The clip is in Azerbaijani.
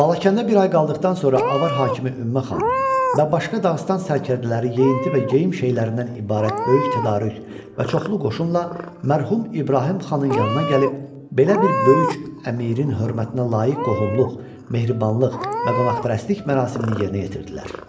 Balakəndə bir ay qaldıqdan sonra Avar hakimi Ümmə Xan və başqa Dağıstan sərkərdələri yeyinti və geyim şeylərindən ibarət böyük tədarük və çoxlu qoşunla mərhum İbrahim Xanın yanına gəlib belə bir böyük əmirin hörmətinə layiq qohumluq, mehribanlıq və qonaqpərvərlik mərasimini yerinə yetirdilər.